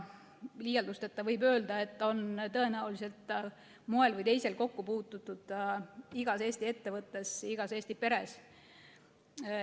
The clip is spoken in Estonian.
Liialdusteta võib öelda, et sellega on tõenäoliselt moel või teisel kokku puututud igas Eesti ettevõttes ja igas Eesti peres.